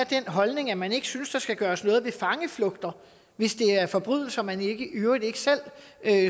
den holdning at man ikke synes der skal gøres noget ved fangeflugter hvis det er forbrydelser man i øvrigt ikke selv